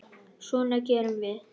Svona gerum við.